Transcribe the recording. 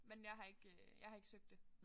Men jeg har ikke øh jeg har ikke søgt det